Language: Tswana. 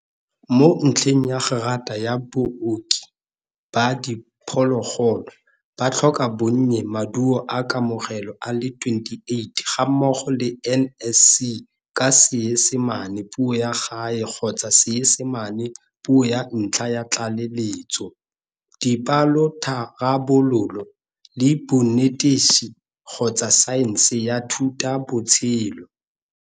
Mo ntlheng ya gerata ya Booki ba Diphologolo, ba tlhoka bonnye Maduo a Kamogelo a le 28 gammogo le NSC ka Seesimane Puo ya Gae kgotsa Seesimane Puo ya Ntlha ya Tlaleletso, dipalotharabololo, le bonetetshi kgotsa saense ya thutabotshelo.